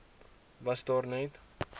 was daar net